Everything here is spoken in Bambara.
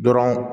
Dɔrɔn